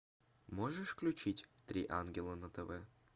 можешь включить три ангела на тв